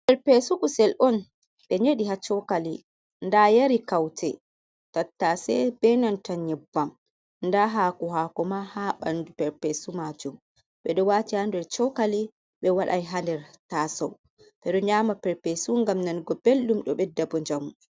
Perpesu kusel on ɓe nyeɗi ha cokali, nda yari kaute tattase benanta nyebbam, nda hako hako ma ha ɓanɗu perpesu majum, ɓe ɗo wati ha nder cokali ɓe waɗai ha nder tasou, ɓe ɗo nyama perpesu ngam nanugo belɗum ɗo ɓedda bo njamu.